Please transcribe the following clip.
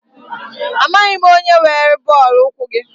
Amaghị m onye were bọọlụ ụkwụ gị.